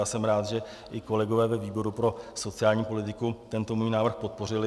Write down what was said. A jsem rád, že i kolegové ve výboru pro sociální politiku tento můj návrh podpořili.